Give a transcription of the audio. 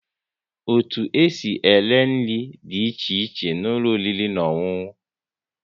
Otu e si ere nri dị iche iche n'ụlọ oriri na ọṅụṅụ